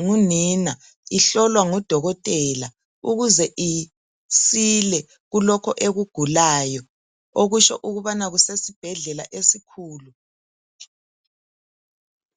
ngunina ihlolwa ngudokotela ukuze isile kulokho ekugulayo. Okutsho ukubana kusesibhedlela esikhulu.